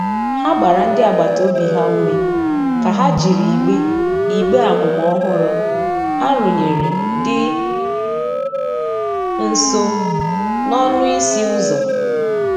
Ha gbara ndi agbata obi ha ume ka ha jịrị igbe igbe amụma ọhụrụ a rụnyere di nso n'ọnụ ịsị uzọ.